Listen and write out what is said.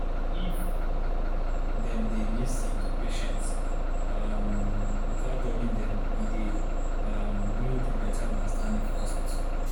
if dem dey lis ten to patients um without judging them e dey um build better understanding for hospital.